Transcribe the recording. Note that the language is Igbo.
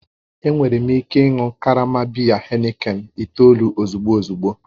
Enwere m ike ị ịṅụ karama biya Heineken itoolu ozugbo ozugbo